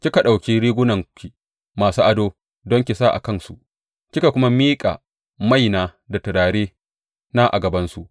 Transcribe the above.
Kika ɗauki rigunanki masu ado don ki sa a kansu, kika kuma miƙa maina da turarena a gabansu.